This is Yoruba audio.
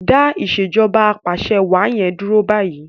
Dá Ìṣèjọba Apàṣẹwàá yen dúró bayi!